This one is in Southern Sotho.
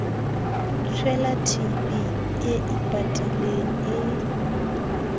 tshwela tb e ipatileng e